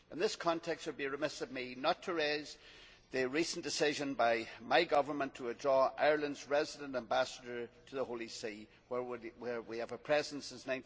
In this context it would be remiss of me not to raise the recent decision by my Government to withdraw Ireland's resident ambassador to the Holy See, where we have had a presence since